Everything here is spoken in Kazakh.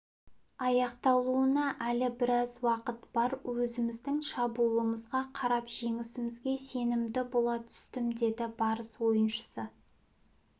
аяқталуына әлі біраз уақыт бар өзіміздің шабуылымызға қарап жеңісімізге сенімді бола түстім деді барыс ойыншысы